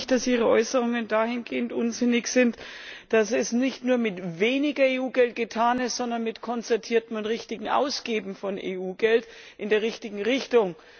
Glauben Sie nicht, dass Ihre Äußerungen dahingehend unsinnig sind, dass es nicht nur mit weniger EU Geld getan ist, sondern mit konzertiertem und richtigem Ausgeben von EU Geld in der richtigen Richtung?